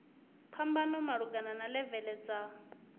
phambano malugana na levele dza